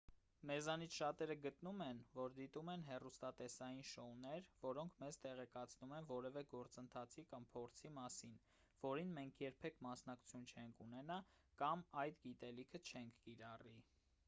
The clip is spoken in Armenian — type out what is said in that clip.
մեզանից շատերը գտնում են որ դիտում են հեռուստատեսային շոուներ որոնք մեզ տեղեկացնում են որևէ գործընթացի կամ փորձի մասին որին մենք երբեք մասնակցություն չենք ունենա կամ այդ գիտելիքը չենք կիրառի